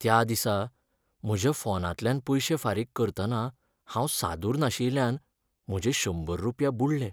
त्या दिसा म्हज्या फोनांतल्यान पयशें फारीक करतना हांव सादूर नाशियल्यान म्हजे शंबर रुपया बुडलें.